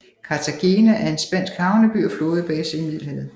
Cartagena er en spansk havneby og flådebase i Middelhavet